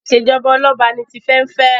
ìṣèjọba Ọlọba ní Tife n'fe.